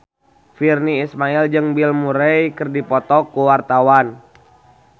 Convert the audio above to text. Virnie Ismail jeung Bill Murray keur dipoto ku wartawan